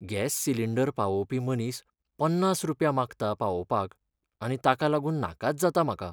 Gas cylinder पावोवपी मनीस पन्नास रुपया मागता पावोवपाक आनी ताका लागून नाकाच जाता म्हाका.